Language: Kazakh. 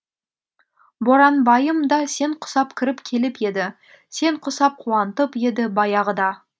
боранбайым да сен құсап кіріп келіп еді сен құсап қуантып еді баяғыда